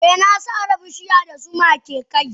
Eh na sare bishiya da zuma ke kai.